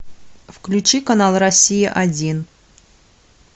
включи канал россия один